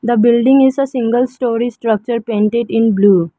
a building is a single storey structure painted in blue.